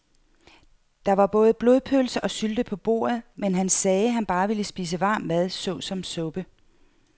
Der var både blodpølse og sylte på bordet, men han sagde, at han bare ville spise varm mad såsom suppe.